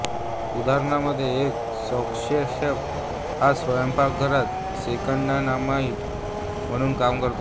उदाहरणांमध्ये एक सॉसशेफ हा स्वयंपाकघरात सेकंडइनकमांड म्हणून काम करतो